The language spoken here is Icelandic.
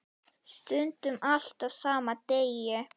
Stundum allt á sama degi.